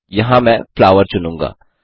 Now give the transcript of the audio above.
यहाँ मैं फ्लावर चुनूँगा